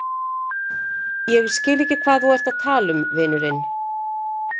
Ég skil ekki hvað þú ert að tala um, vinurinn.